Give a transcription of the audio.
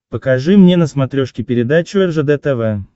покажи мне на смотрешке передачу ржд тв